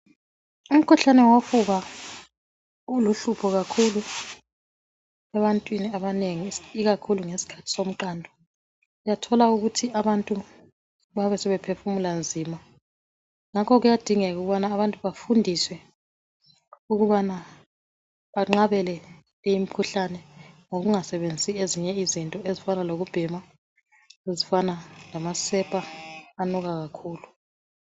Umkhuhlane wofuba uluhlupho kakhulu ebantwini abanengi ikakhulu ngesikhathi somqando, uyathola ukuthi abantu bayabe sebephefumula nzima, ngakho kuyadingeka ukubana abantu bafundiswe ukubana banqabele leyi mikhuhlane ngokungasebenzisi ezinye izinto ezifana lokubhema lezifana amasepa anuka kakhulu.